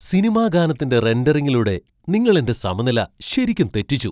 Cinema ഗാനത്തിന്റെ റെൻഡറിംഗിലൂടെ നിങ്ങൾ എന്റെ സമനില ശരിക്കും തെറ്റിച്ചു!